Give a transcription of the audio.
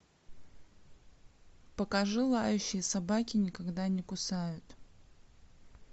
покажи лающие собаки никогда не кусают